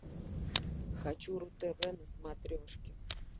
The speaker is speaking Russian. хочу ру тв на смотрешке